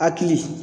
Hakili